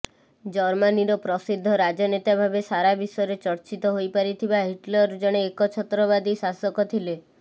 ଜର୍ମାନିର ପ୍ରସିଦ୍ଧ ରାଜନେତା ଭାବେ ସାରାବିଶ୍ୱରେ ଚର୍ଚ୍ଚିତ ହୋଇପାରିଥିବା ହିଟଲର ଜଣେ ଏକଛତ୍ରବାଦୀ ଶାସକ ଥିଲେ